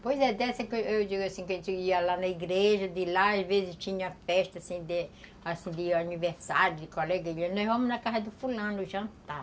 dessa que eu digo assim, que a gente ia lá na igreja, de lá às vezes tinha festa assim de de aniversário, de colega, e dizia, nós vamos na casa do fulano, jantar.